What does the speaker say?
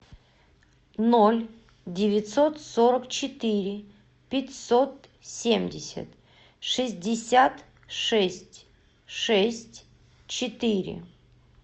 ноль девятьсот сорок четыре пятьсот семьдесят шестьдесят шесть шесть четыре